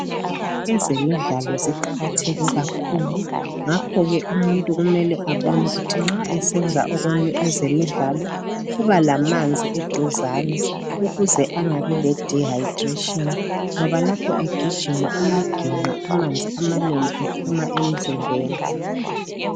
Ezemidlalo ziqakatheke kakhulu ngakho ke umuntu kumele abone ukuthi nxa esenza ezemidlalo uba lamanzi eduzane ukuze angabi ledihayidrashini ngoba lapho egijima uyaginqa amanzi amanengi ephuma emzimbeni.